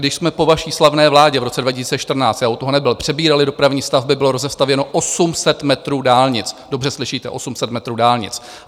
Když jsme po vaší slavné vládě v roce 2014 - já u toho nebyl - přebírali dopravní stavby, bylo rozestavěno 800 metrů dálnic, dobře slyšíte, 800 metrů dálnic.